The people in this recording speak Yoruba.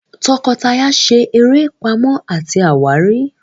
tọkọtaya ṣe eré Pàmò àti àwárí.